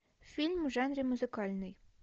фильм в жанре музыкальный